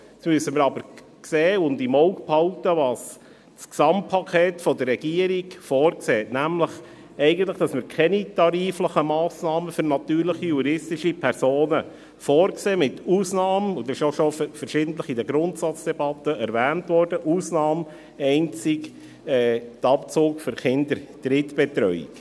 Jetzt müssen wir aber im Auge behalten, was das Gesamtpaket der Regierung vorsieht, nämlich eigentlich, dass wir keine tariflichen Massnahmen für natürliche und juristische Personen vorsehen, mit Ausnahme – dies wurde in der Grundsatzdebatte auch schon verschiedentlich erwähnt – einzig des Abzugs für Kinderdrittbetreuung.